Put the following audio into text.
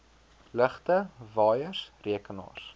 ligte waaiers rekenaars